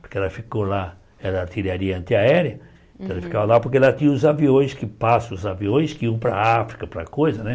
Porque ela ficou lá na era artilharia antiaérea, ela ficava lá porque ela tinha os aviões que passam, os aviões que iam para a África, para coisa, né?